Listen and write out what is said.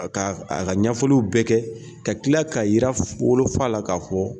A ka a ka ɲɛfɔliw bɛɛ kɛ, ka kila ka yira wolofa la kaa fɔ.